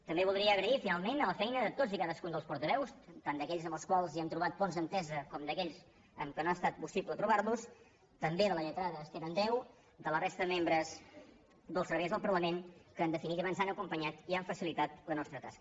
també voldria agrair finalment la feina de tots i cadascun dels portaveus tant d’aquells amb els quals hem trobat ponts d’entesa com d’aquells amb qui no ha estat possible trobar los també de la lletrada esther andreu de la resta de membres dels serveis del parlament que en definitiva ens han acompanyat i han facilitat la nostra tasca